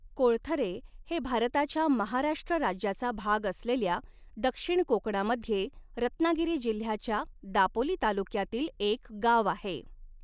कोळथरे हे भारताच्या महाराष्ट्र राज्याचा भाग असलेल्या दक्षिण कोकणामध्ये रत्नागिरी जिल्ह्याच्या दापोली तालुक्यातील एक गाव आहे.